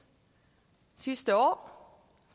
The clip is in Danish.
sidste år